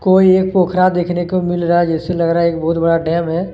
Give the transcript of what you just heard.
कोई एक पोखरा देखने को मिल रहा है जैसे लग रहा है एक बहुत बड़ा डैम है।